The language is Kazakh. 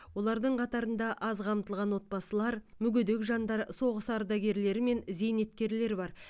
олардың қатарында аз қамтылған отбасылар мүгедек жандар соғыс ардаргерлері мен зейнеткерлер бар